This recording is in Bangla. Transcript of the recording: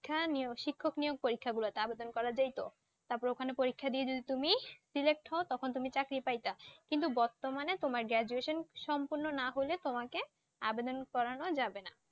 খা নিয়োগ~ শিক্ষক নিয়োগ পরীক্ষা গুলোতে আবেদন করা যাইত। তারপর ওখানে পরীক্ষা দিয়ে যদি তুমি select হউ তখন তুমি চাকরি পাইতা। কিন্তু বর্তমানে তোমার graduation সম্পূর্ণ না হলে তোমাকে আবেদন করানো যাবে না।